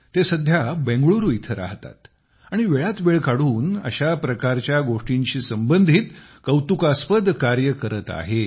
ते सध्या बेंगळुरू येथे राहतात आणि वेळात वेळ काढून अशा प्रकारचे गोष्टींशी संबंधित कौतुकास्पद कार्य करत आहेत